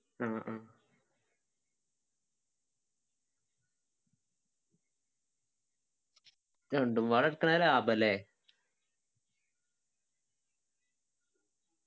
മ് മ് രണ്ടും പാടെ എട്ക്കണേ ലാഭം അല്ലെ